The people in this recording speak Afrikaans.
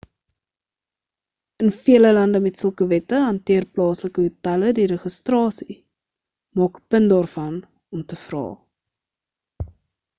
in vele lande met sulke wette hanteer plaaslike hotelle die registrasie maak ‘n punt daarvan om te vra